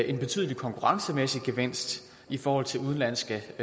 en betydelig konkurrencemæssig gevinst i forhold til udenlandske